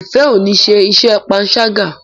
Ifẹ ọ ní ṣe iṣé panṣaga.